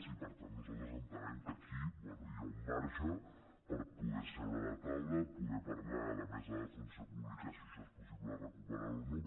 i per tant nosaltres entenem que aquí bé hi ha un marge per poder seure a la taula poder parlar a la mesa de la funció pública si això és possible de recuperar ho o no